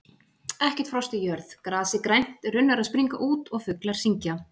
Ekkert frost í jörð, grasið grænt, runnar að springa út og fuglar syngja.